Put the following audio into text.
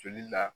Joli la